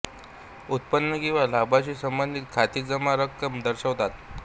उत्पन्न किंवा लाभाशी संबंधित खाती जमा रक्कम दर्शवतात